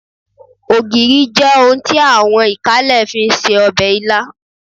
Ògìrì jẹ́ ohun tí àwọn ìkálẹ̀ fi ń se ọbẹ̀ ilá